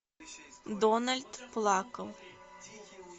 дональд плакал